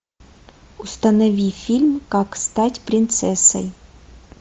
установи фильм как стать принцессой